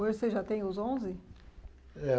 Hoje você já tem os onze? Eh